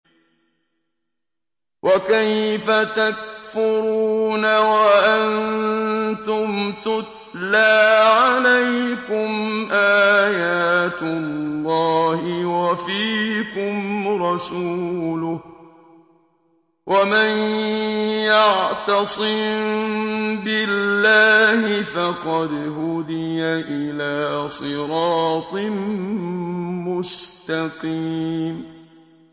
وَكَيْفَ تَكْفُرُونَ وَأَنتُمْ تُتْلَىٰ عَلَيْكُمْ آيَاتُ اللَّهِ وَفِيكُمْ رَسُولُهُ ۗ وَمَن يَعْتَصِم بِاللَّهِ فَقَدْ هُدِيَ إِلَىٰ صِرَاطٍ مُّسْتَقِيمٍ